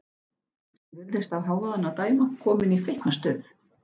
Sem virðist af hávaðanum að dæma komin í feiknastuð.